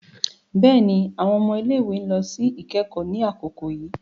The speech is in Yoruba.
Béèni, awọn ọmọ ile-iwe n lọ si ikẹkọ ni akoko yii